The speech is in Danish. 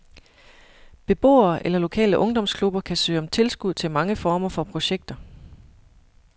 Beboere eller lokale ungdomsklubber kan søge om tilskud til mange former for projekter.